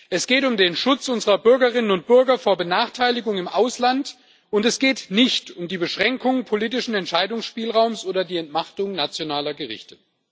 Es geht um den Schutz unserer Bürgerinnen und Bürger vor Benachteiligung im Ausland und es geht nicht um die Beschränkung politischen Entscheidungsspielraums oder die Entmachtung nationaler Gerichte.